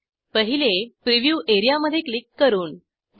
पहिले preview A R E A मधे click करून 2